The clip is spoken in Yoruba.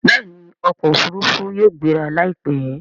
Bẹẹni okò òfurufú yóò gbéra laipẹ.